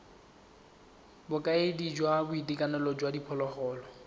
bokaedi jwa boitekanelo jwa diphologolo